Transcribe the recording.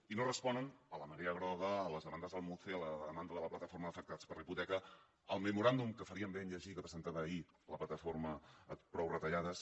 i no responen a la marea groga a les demandes del muce a la demanda de la plataforma d’afectats per la hipoteca al memoràndum que faríem bé de llegir que presentava ahir la plataforma prou retallades